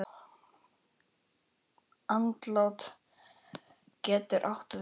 Andlát getur átt við